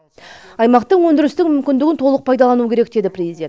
аймақтың өндірістік мүмкіндігін толық пайдалану керек деді президент